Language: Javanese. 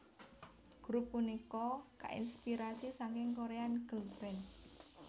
Grup punika kainspirasi saking Korean girlband